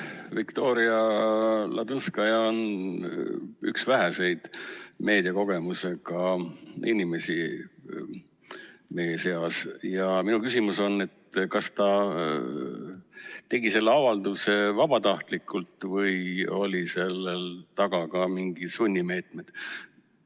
Viktoria Ladõnskaja on meie seas üks väheseid meediakogemusega inimesi ja minu küsimus on, et kas ta tegi selle avalduse vabatahtlikult või olid seal taga ka mingid sunnimeetmed.